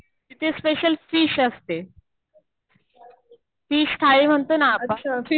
तिथे special fish असते. Fish थाळी म्हणतो ना आपण.